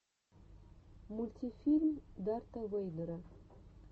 мультфильм дарта вэйдера